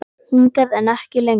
Hingað, en ekki lengra.